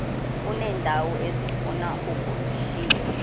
uneendawo ezifuna ukushiywa